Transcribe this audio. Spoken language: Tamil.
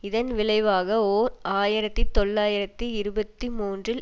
இதன் விளைவாக ஓர் ஆயிரத்தி தொள்ளாயிரத்தி இருபத்தி மூன்றில்